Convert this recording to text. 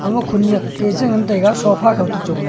omok khunyak e ngan taiga sofa khaw to chongla.